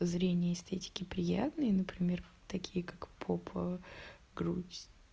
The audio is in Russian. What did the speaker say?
зрения эстетики приятные например такие как попа грудь